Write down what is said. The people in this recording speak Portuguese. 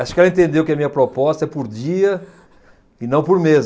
Acho que ela entendeu que a minha proposta é por dia e não por mês.